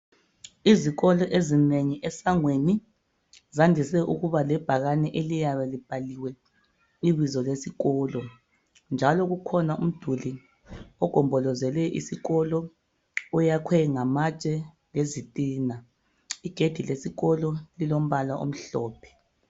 Izikolo ezinengi esangweni zandise ukuba lebhakane eliyabe libhaliwe ibizo lesikolo njalo kukhona umduli ogombolozele isikolo oyakhwe ngamatshe lezitina. Igedi lesikolo lilombala omhlophe.